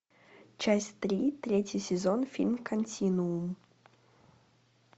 часть три третий сезон фильм континуум